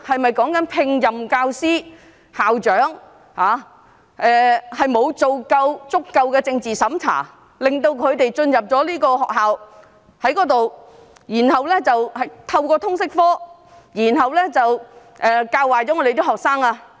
是否指聘請教師或校長時沒有進行足夠的政治審查，讓他們進入學校，透過通識科教壞學生？